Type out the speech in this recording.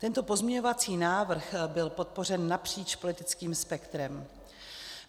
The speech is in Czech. Tento pozměňovací návrh byl podpořen napříč politickým spektrem.